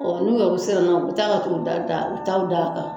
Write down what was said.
Ɔ n'u yɛrɛw siranna u bɛ taa ka t'u da da u bɛ taa u d'a kan